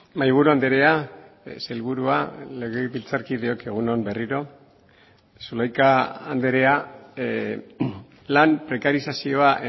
mahaiburu andrea sailburua legebiltzarkideok egun on berriro zulaika andrea lan prekarizazioa